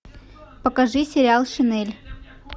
покажи сериал шинель